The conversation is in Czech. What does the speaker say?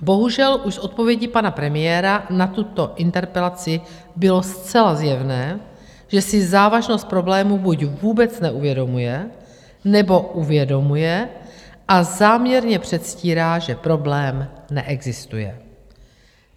Bohužel, už s odpovědí pana premiéra na tuto interpelaci bylo zcela zjevné, že si závažnost problémů buď vůbec neuvědomuje, nebo uvědomuje a záměrně předstírá, že problém neexistuje.